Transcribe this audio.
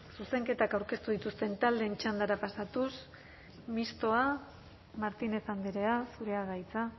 zuzenketak aurkeztu dituzten taldeen txandara pasatuz mistoa martínez andrea zurea da hitza